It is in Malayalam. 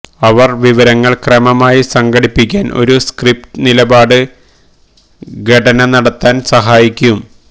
അവർ വിവരങ്ങൾ ക്രമമായി സംഘടിപ്പിക്കാൻ ഒരു സ്ക്രിപ്റ്റ് നിലപാട് ഘടന നടത്താൻ സഹായിക്കും